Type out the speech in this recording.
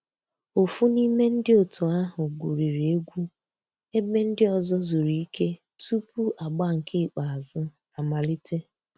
Ófú n'ime ndi ótú ahu gwuriri egwu èbé ndị́ ọ̀zọ́ zùrú ìké túpú àgbà nkè ìkèázụ́ àmàlíté.